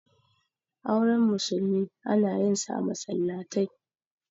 auren musulmi ana yinsa a masallatai